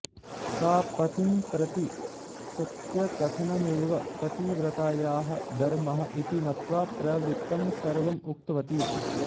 सा पतिम्प्रति सत्यकथनमेव पतिव्रतायाः धर्मः इति मत्वा प्रवृत्तं सर्वम् उक्तवती